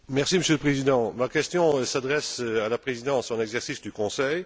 Monsieur le Président, ma question s'adresse à la Présidence en exercice du Conseil.